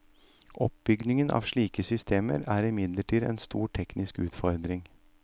Oppbyggingen av slike systemer er imidlertid en stor teknisk utfordring.